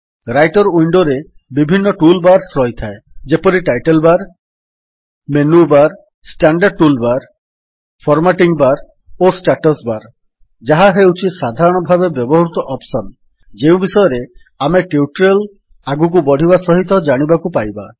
Writer ୱିଣ୍ଡୋରେ ବିଭିନ୍ନ tool bars ରହିଥାଏ ଯେପରି title bar menu bar standard tool bar formatting bar ଓ ଷ୍ଟାଟସ୍ ବାର୍ ଯାହା ହେଉଛି ସାଧାରଣ ଭାବେ ବ୍ୟବହୃତ ଅପ୍ସନ୍ ଯେଉଁ ବିଷୟରେ ଆମେ ଟ୍ୟୁଟୋରିଆଲ୍ ଆଗକୁ ବଢ଼ିବା ସହିତ ଜାଣିବାକୁ ପାଇବା